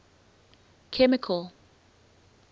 chemical